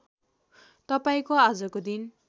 तपाईँको आजको दिन